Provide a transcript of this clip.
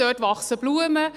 Dort wachsen Blumen.